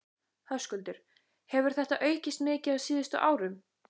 Höskuldur: Hefur þetta aukist mikið á síðustu árum?